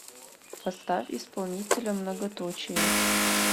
поставь исполнителя многоточие